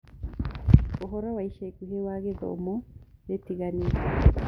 uhoro wa ĩca ĩkũhĩ wa ithomo ritiganite